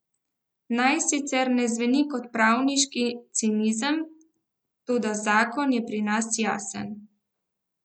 Naj sicer ne zveni kot pravniški cinizem, toda zakon je pri nas jasen.